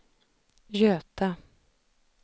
Göta